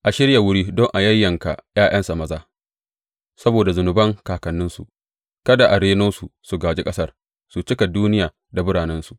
A shirya wuri don a yayyanka ’ya’yansa maza saboda zunuban kakanninsu; kada a reno su su gāji ƙasar su cika duniya da biranensu.